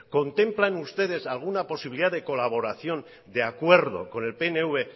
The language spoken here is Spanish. contemplan ustedes alguna posibilidad de colaboración de acuerdo con el pnv